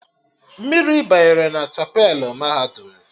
Mmiri banyere na chapelụ mahadum